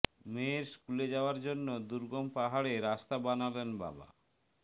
মেয়ের স্কুলে যাওয়ার জন্য দুর্গম পাহাড়ে রাস্তা বানালেন বাবা